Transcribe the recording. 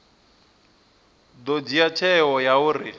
ḓo dzhia tsheo ya uri